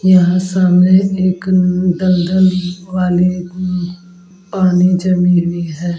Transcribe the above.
यहाँ सामने एक दल-दल वाले पानी जमी हुई है ।